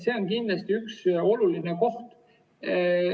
See on kindlasti üks olulisi kohti.